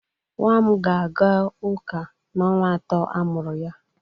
Nwam ga-aga uka n'ọnwa atọ amụru ya.